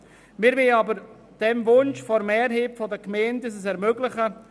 Wir möchten aber dem Wunsch der Mehrheit der Gemeinden nachkommen und ihnen dies ermöglichen;